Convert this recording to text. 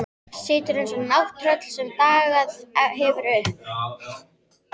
Situr eins og nátttröll sem dagað hefur uppi.